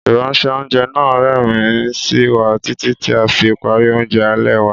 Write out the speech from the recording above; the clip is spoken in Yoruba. Ìránṣẹ́- oúnjẹ náà rẹ́rìn-ín sí wa títí tí a fi parí oúnjẹ alẹ́ wa.